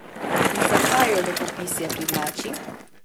In zakaj jo lepopisje privlači?